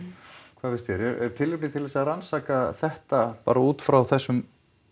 finnst þér er tilefni til þess að rannsaka þetta bara út frá þessum